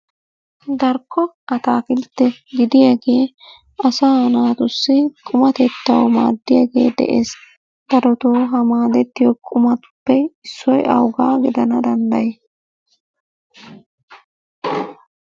Darkko atakiltte gidiyaage asa naatussi qumatettaw maaddiyaage de'ees. Darottoo ha maaddetiyo qumatuppe issoy awuga gidana dandday?